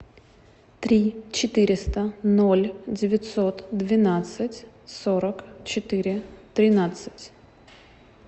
три четыреста ноль девятьсот двенадцать сорок четыре тринадцать